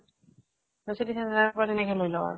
ত city center ৰ পৰা হেনেকে লৈ লওঁ আৰু।